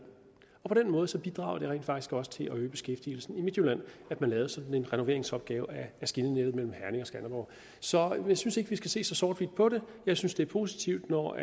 på den måde bidrog det rent faktisk også til at øge beskæftigelsen i midtjylland at man lavede sådan en renoveringsopgave af skinnenettet mellem herning og skanderborg så jeg synes ikke vi skal se så sort hvidt på det jeg synes det er positivt når